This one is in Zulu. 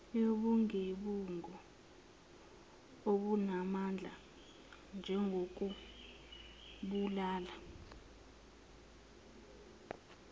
yobugebengu obunamandla njengokubulala